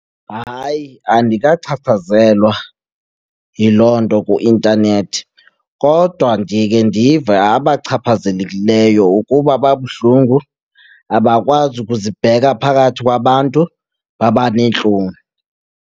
Hayi, andikachaphazelwa yiloo nto kwi-intanethi. Kodwa ndike ndive abachaphazelekileyo ukuba babuhlungu, abakwazi ukuzibheka phakathi kwabantu, babaneentloni.